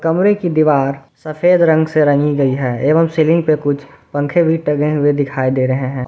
कमरे की दीवार सफेद रंग से रंगी गई हैं एवम् सीलिंग पे कुछ पंखे भी टंगे हुए दिखाई दे रहे है और --